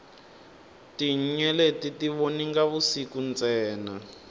tinyeleti ti voninga vusiku ntsena